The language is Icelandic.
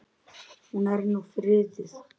Hún er nú friðuð.